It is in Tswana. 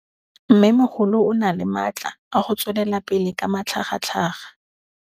Mmêmogolo o na le matla a go tswelela pele ka matlhagatlhaga.